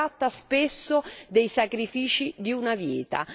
Si tratta spesso dei sacrifici di una vita.